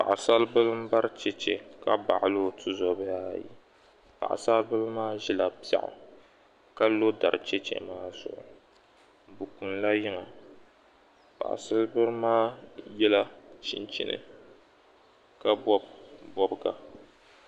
Paɣisaribala m-bari cheche ka baɣili o tuzɔbihi ayi paɣibasaribila maa ʒila piɛɣu ka lo dari cheche maa zuɣu bɛ kunila yiŋa paɣisaribila maa yɛla chinchini ka bɔbi bɔbiga